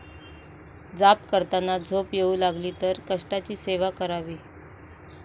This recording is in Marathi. जाप करताना झोप येऊ लागली तर कष्टाची सेवा करावी